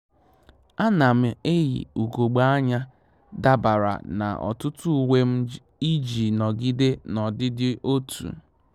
À nà m eyì ùgògbè ányá dabara na ọtụ́tụ́ uwe m iji nọgide n'ọdịdị otu